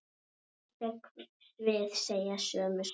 Einstök svið segja sömu sögu.